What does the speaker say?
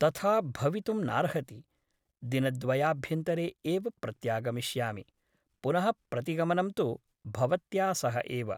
तथा भवितुं नार्हति । दिनद्वयाभ्यन्तरे एव प्रत्यागमिष्यामि । पुनः प्रतिगमनं तु भवत्या सह एव ।